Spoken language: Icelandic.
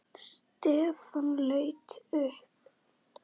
Stefán leit upp.